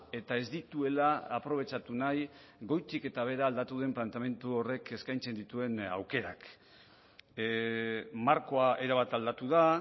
eta ez dituela aprobetxatu nahi goitik eta behera aldatu den planteamendu horrek eskaintzen dituen aukerak markoa erabat aldatu da